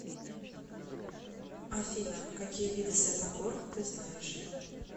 афина какие виды святогор ты знаешь